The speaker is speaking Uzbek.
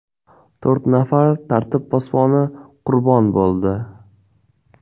To‘rt nafar tartib posboni qurbon bo‘ldi.